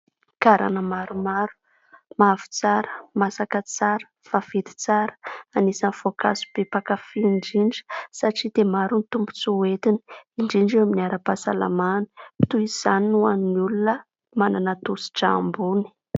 Garana maromaro mavo tsara, masaka tsara, vaventy tsara. Anisan'ny voankazo be mpakafia indrindra satria dia maro ny tombontsoa hoentiny; indrindra eo amin'ny ara-pahasalamana toy izany ny ho an'ny olona manana tosi-drà ambony.